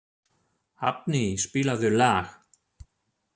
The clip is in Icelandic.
Hafni, spilaðu lag.